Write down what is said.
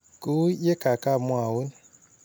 Kou ye kaka mwaun .